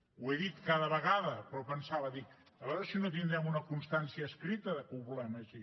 ho he dit cada vegada però pensava dic a veure si no tindrem una constància escrita que ho volem així